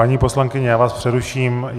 Paní poslankyně, já vás přeruším.